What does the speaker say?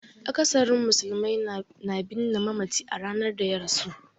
Akasarin musulmai na binne mamaci a ranar da ya rasu.